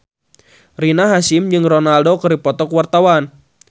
Rina Hasyim jeung Ronaldo keur dipoto ku wartawan